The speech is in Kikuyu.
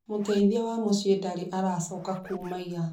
Mũteithia wa mũciĩ ndarĩ aracoka kuuma ĩra